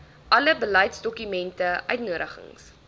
alle beleidsdokumente uitnodigings